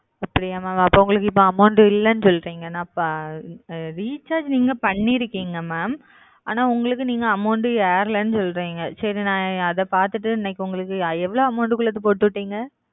அப்டியா எப்போ உங்களுக்கு amount இல்லனு சொல்லுறீங்க recharge அனா உங்களுக்கு amount ஏராளனு சொல்லுறீங்க சரி ந அத பாத்துட்டு எவ்ளோ amount உள்ளது போட்டு விட்டிங்க